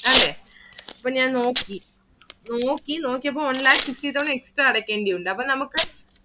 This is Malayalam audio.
അല്ലെ ഇപ്പൊ ഞാൻ നോക്കി നോക്കി~ നോക്കിയപ്പോ one lakh fifty തവണ extra അടയ്‌ക്കേണ്ടി ഉണ്ട് അപ്പൊ നമുക്ക്